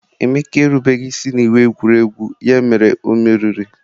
Emeka erubeghi isi n'iwu egwuregwu, ya mere o meriri.